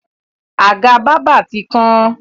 Àga bábà ti kán.